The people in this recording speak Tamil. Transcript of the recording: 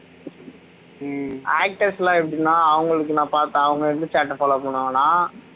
actors லாம் எப்படின்னா அவங்களுக்கு அவங்களுக்குன்னு பார்த்தா அவங்க எந்த chart அ follow பண்ணுவாங்கண்ணா